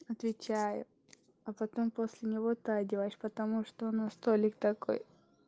отвечаю а потом после него ты одеваешь потому что у нас толик такой